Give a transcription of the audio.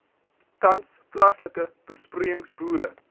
tans plaaslike besproeiingsboere